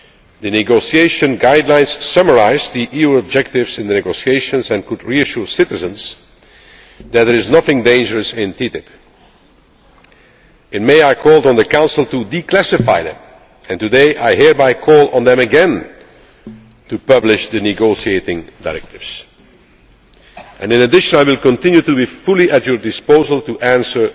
The negotiation guidelines summarise the EU objectives in the negotiations and could reassure citizens that there is nothing dangerous in TTIP. In May I called on the Council to declassify them and today I hereby call on them again to publish the negotiating directives. In addition, I will continue to be fully at your disposal to answer